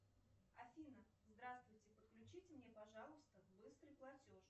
афина здравствуйте подключите мне пожалуйста быстрый платеж